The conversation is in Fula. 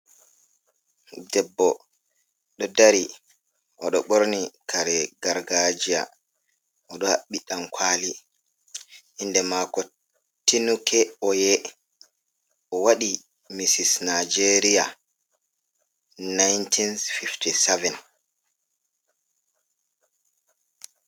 Debbo ɗo dari o ɗo ɓorni kare gargajia oɗo haɓɓi dankwali inde mako tinuke oye o waɗi mirs nijeria 1957.